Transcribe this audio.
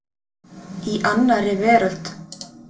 Í annarri veröld.